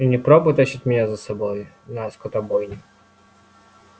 и не пробуй тащить меня за собой на скотобойню